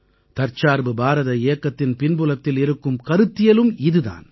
தற்சார்பு பாரத இயக்கத்தின் பின்புலத்தில் இருக்கும் கருத்தியலும் இது தான்